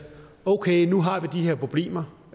okay nu har vi de her problemer